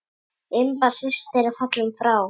Imba systir er fallin frá.